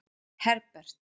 Herbert